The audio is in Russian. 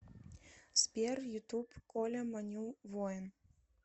сбер ютуб коля маню воин